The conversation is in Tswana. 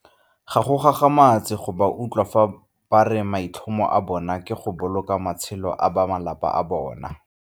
Ga go gagamatse go ba utlwa fa ba re maitlhomo a bona ke go boloka matshelo a ba malapa a bona.